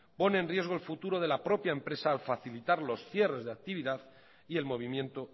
pone en riesgo el futuro de la propia empresa al facilitar los cierres de actividad y el movimiento